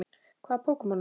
Hvaða Pokémon ertu?